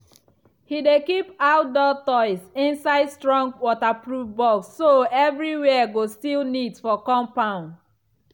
he dey keep outdoor toys inside strong waterproof box so everywhere go still neat for compound.